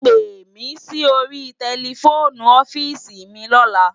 Pémi si óri tèlèfóni ofisi mi lòlá